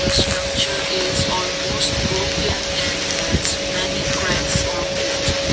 structure is almost broken and has many cracks on edge.